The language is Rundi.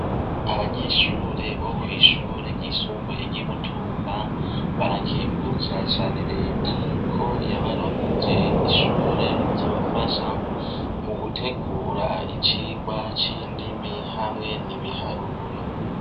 Abanyeshure bo kw'ishure ryisumbuye ry'i Mutumba, barakengurukira cane Reta ko yabaronkeje ishure rizobafasha mu gutegura icigwa c'indimi hamwe n'ibiharuro.